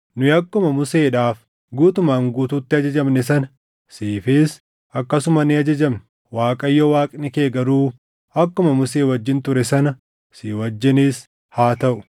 Nu akkuma Museedhaaf guutumaan guutuutti ajajamne sana siifis akkasuma ni ajajamna. Waaqayyo Waaqni kee garuu akkuma Musee wajjin ture sana si wajjinis haa taʼu.